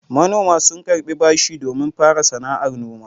Manoma sun karɓi bashi domin fara sana'ar noma.